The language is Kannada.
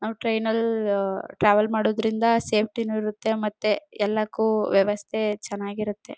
ನಾವು ಟ್ರೈನ್ ಲ್ಲಿ ಟ್ರಾವೆಲ್ ಮಾಡೋದ್ರಿಂದ ಸೇಫ್ಟಿ ನೂ ಇರುತ್ತೆ ಮತ್ತೆ ಎಲ್ಲಕ್ಕೂ ವ್ಯವಸ್ಥೆ ಚೆನ್ನಾಗಿರುತ್ತೆ.